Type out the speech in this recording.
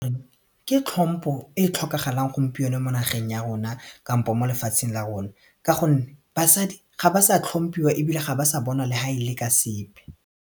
Ke tlhompo e tlhokagalang gompieno mo nageng ya rona kampo mo lefatsheng la rona ka gonne basadi ga ba sa tlhomphiwa ebile ga ba sa bonwa le ha e le ka sepe.